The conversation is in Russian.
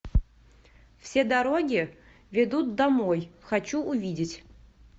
все дороги ведут домой хочу увидеть